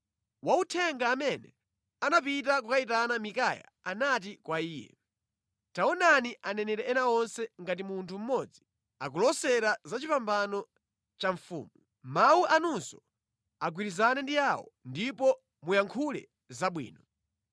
Wauthenga amene anapita kukayitana Mikaya anati kwa iye, “Taonani aneneri ena onse ngati munthu mmodzi akulosera za chipambano cha mfumu. Mawu anunso agwirizane ndi awo ndipo muyankhule zabwino.”